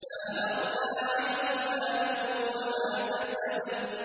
مَا أَغْنَىٰ عَنْهُ مَالُهُ وَمَا كَسَبَ